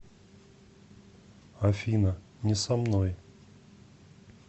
афина не со мной